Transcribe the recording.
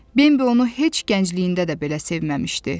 Bambi onu heç gəncliyində də belə sevməmişdi.